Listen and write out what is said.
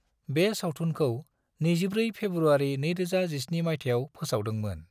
बे सावथुनखौ 24 फेब्रुआरि 2017 मायथाइयाव फोसावदों मोन।